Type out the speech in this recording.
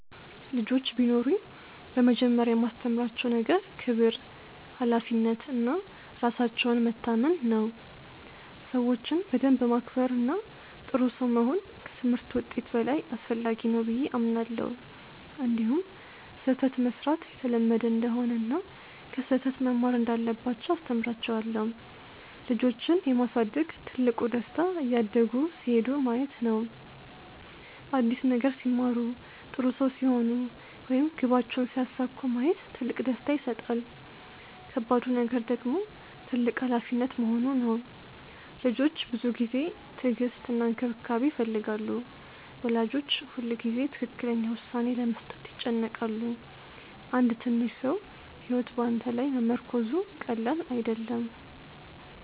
ልጆች ቢኖሩኝ በመጀመሪያ የማስተምራቸው ነገር ክብር፣ ሀላፊነት እና ራሳቸውን መታመን ነው። ሰዎችን በደንብ ማክበር እና ጥሩ ሰው መሆን ከትምህርት ውጤት በላይ አስፈላጊ ነው ብዬ አምናለሁ። እንዲሁም ስህተት መሥራት የተለመደ እንደሆነ እና ከስህተት መማር እንዳለባቸው አስተምራቸዋለሁ። ልጆችን የማሳደግ ትልቁ ደስታ እያደጉ ሲሄዱ ማየት ነው። አዲስ ነገር ሲማሩ፣ ጥሩ ሰው ሲሆኑ ወይም ግባቸውን ሲያሳኩ ማየት ትልቅ ደስታ ይሰጣል። ከባዱ ነገር ደግሞ ትልቅ ሀላፊነት መሆኑ ነው። ልጆች ብዙ ጊዜ፣ ትዕግስት እና እንክብካቤ ይፈልጋሉ። ወላጆች ሁልጊዜ ትክክለኛ ውሳኔ ለመስጠት ይጨነቃሉ። አንድ ትንሽ ሰው ሕይወት በአንተ ላይ መመርኮዙ ቀላል አይደለም።